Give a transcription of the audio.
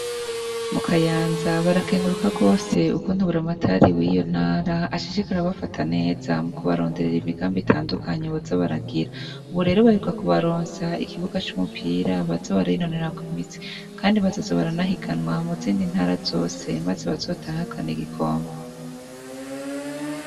Mu kayanza barakenguruka rwose uko buramatari wiyo ntara ashishikara kuba bafata neza mu kubaronderera imigambi itandukanyi baza baragira, ubu rero baheruka kubaronsa ikibuga c'umupira baza barinonorerako imitsi, kandi bazazo baranahiganwa mu zindi ntara zose, maze bazotahukane igikombe.